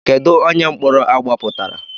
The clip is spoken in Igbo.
Kedụ onye mkpọrọ agbapụtara.